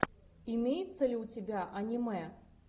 имеется ли у тебя аниме